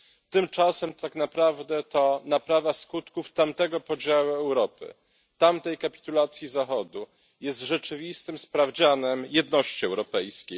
Tymczasem tak naprawdę to naprawa skutków tamtego podziału Europy, tamtej kapitulacji Zachodu jest rzeczywistym sprawdzianem jedności europejskiej.